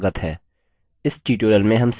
इस tutorial में हम सीखेंगे